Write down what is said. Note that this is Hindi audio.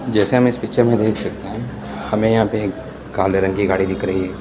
जैसे हम इस पिक्चर में देख सकते हैं हमें यहां पे काले रंग की गाड़ी दिख रही --